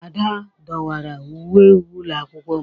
Ada dọwara uwe ụlọ akwụkwọ m